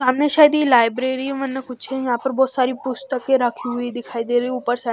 सामने शायद ये लाइब्रेरी है कुछ यहां पर बहुत सारी पुस्तकें रखी हुई दिखाई दे रही ऊपर से।